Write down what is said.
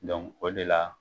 o de la